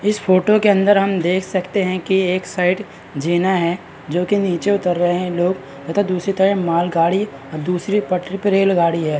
इस फोटो के अंदर हम देख सकते है की एक साइड झीना है जो की नीचे उतर रहे है लोग तथा दूसरी तरफ माल गाड़ी और दूसरी पटरी पर रेलगाड़ी है ।